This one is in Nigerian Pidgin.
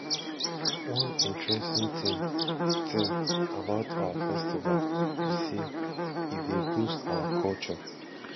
one interesting thing thing about our festival be say e dey boost our culture